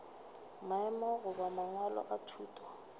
maemo goba mangwalo a thuto